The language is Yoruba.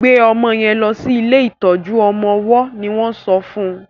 gbe ọmọ yen lò sí ilé ìtọjú ọmọ ọwó ní won sọ fún.